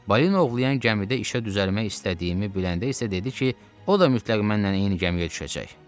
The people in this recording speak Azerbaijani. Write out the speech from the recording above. Balina ovlayan gəmidə işə düzəlmək istədiyimi biləndə isə dedi ki, o da mütləq mənlə eyni gəmiyə düşəcək.